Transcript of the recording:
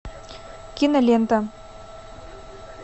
кинолента